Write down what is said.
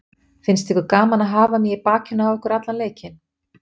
Finnst ykkur gaman að hafa mig í bakinu á ykkur allan leikinn?